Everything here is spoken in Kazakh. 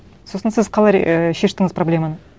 сосын сіз қалай ііі шештіңіз проблеманы